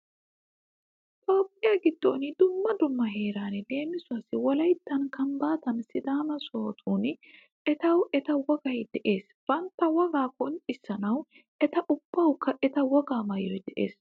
Toophphiya giddon dumma dumma heerani leemisuwawu wolayttan; kambbaatan; sidaama sohotun etawu eta wogayi de'ees. Bantta wogaa qonccissanawu eta ubbawukka eta wogaa maayoyi de'eesi.